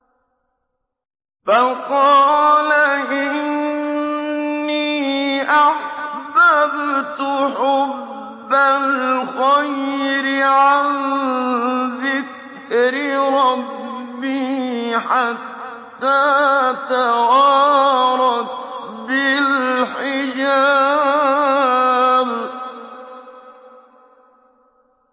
فَقَالَ إِنِّي أَحْبَبْتُ حُبَّ الْخَيْرِ عَن ذِكْرِ رَبِّي حَتَّىٰ تَوَارَتْ بِالْحِجَابِ